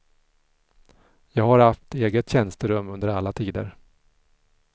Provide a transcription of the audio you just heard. Jag har haft eget tjänsterum under alla tider.